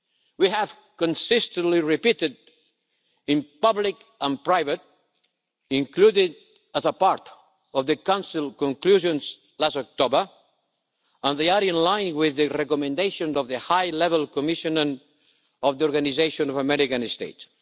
We have consistently repeated these in public and private, including as a part of the Council conclusions last October, and they are in line with the recommendations of the High-Level Commission and of the Organization of American States.